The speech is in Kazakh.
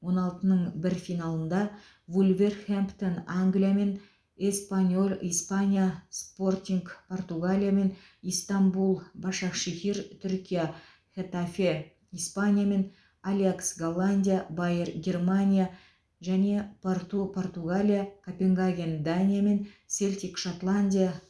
он алтының бір финалында вулверхэмптон англия мен эспаньол испания спортинг португалия пен истанбул башакшехир түркия хетафе испания мен аякс голландия байер германия және порту португалия копенгаген дания мен селтик шотландия